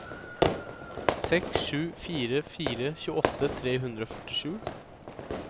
seks sju fire fire tjueåtte tre hundre og førtisju